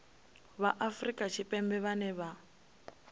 vha afrika tshipembe vhane vha